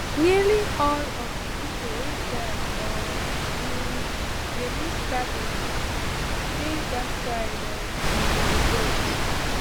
nearly all of di pipo wey die or um dey miss cabins dey dat side of um di boat